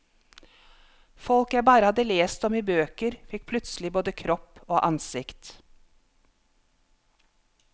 Folk jeg bare hadde lest om i bøker fikk plutselig både kropp og ansikt.